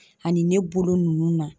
Ani ne bolo nunnu na.